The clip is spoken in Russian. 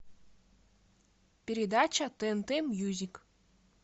передача тнт мюзик